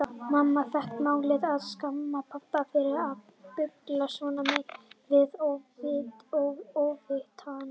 Mamma fékk málið og skammaði pabba fyrir að bulla svona við óvitann.